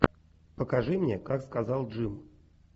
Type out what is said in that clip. покажи мне как сказал джим